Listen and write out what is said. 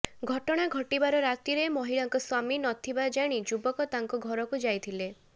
ଘଟଣା ଘଟିବାର ରାତିରେ ମହିଳାଙ୍କ ସ୍ବାମୀ ନଥିବା ଜାଣି ଯୁବକ ତାଙ୍କ ଘରକୁ ଯାଇଥିଲେ